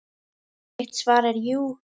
Mitt svar er jú.